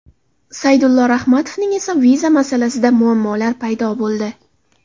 Saydullo Rahmatovning esa viza masalasida muammolar paydo bo‘ldi.